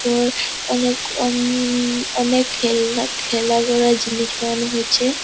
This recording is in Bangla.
ওর অনেক অন-ন-ন-ন অনেক খেলনা খেলা করার জিনিস বানিয়েছে ।